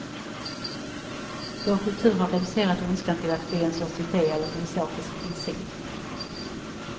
Vår kultur har reducerat ondskan till att bli en sorts idé eller filosofisk princip.